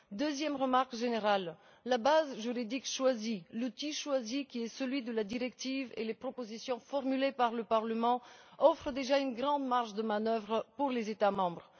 Deuxième remarque générale la base juridique choisie, l'outil choisi, qui est celui de la directive, et les propositions formulées par le Parlement offrent déjà une grande marge de manœuvre aux États membres.